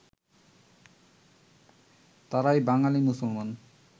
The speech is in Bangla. তাঁরাই বাঙালী মুসলমান